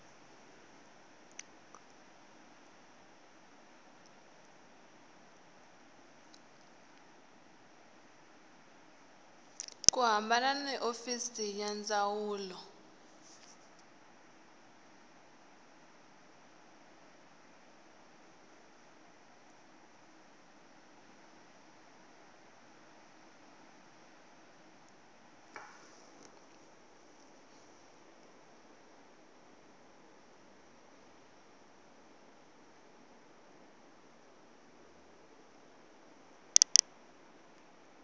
khumbana na hofisi ya ndzawulo